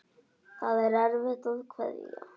Það er erfitt að kveðja.